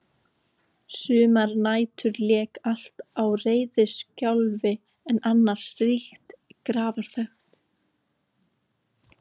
Sumar nætur lék allt á reiðiskjálfi en annars ríkti grafarþögn.